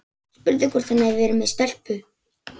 Spurði hvort hann hefði verið með stelpu.